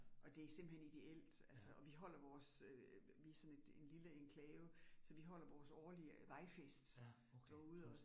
Og det simpelthen ideelt altså og vi holder vores øh, vi sådan en lille enklave, så vi holder vores årlige vejfest derude også